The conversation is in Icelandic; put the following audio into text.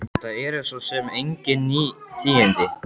Þetta eru svo sem engin ný tíðindi.